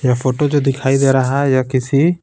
ये फोटो जो दिखाई दे रहा है ये किसी--